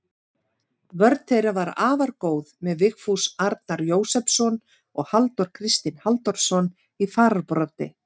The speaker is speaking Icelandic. Vörn þeirra var afar góð með Vigfús Arnar Jósepsson og Halldór Kristinn Halldórsson í fararbroddi.